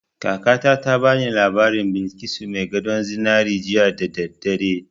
Kakata ta ba ni labarin Balkisu mai gadon zinari jiya da daddare